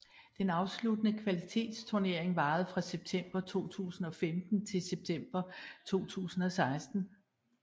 Den afsluttende kvalifikationsturnering varer fra september 2015 til september 2016